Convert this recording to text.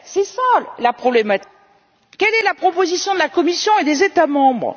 Voilà la problématique. Alors, quelle est la proposition de la Commission et des États membres?